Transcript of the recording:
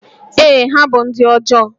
Ee, ha bụ ndị ọjọọ